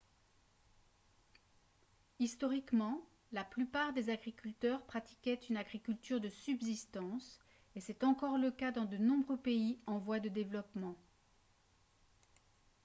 historiquement la plupart des agriculteurs pratiquaient une agriculture de subsistance et c'est encore le cas dans de nombreux pays en voie de développement